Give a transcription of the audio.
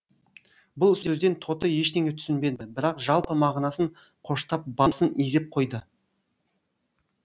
бұл сөзден тоты ештеңе түсінбеді бірақ жалпы мағынасын қоштап басын изеп қойды